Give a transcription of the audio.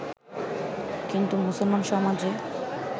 কিন্তু মুসলমান সমাজে